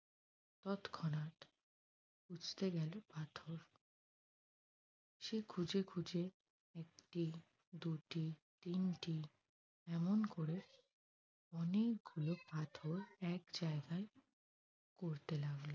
খুঁজতে গেল পাথর। সে খুঁজে খুঁজে একটি দুটি তিনটি এমন করে অনেকগুলো পাথর এক জায়গায় করতে লাগল।